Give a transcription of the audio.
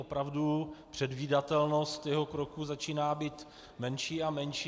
Opravdu předvídatelnost jeho kroků začíná být menší a menší.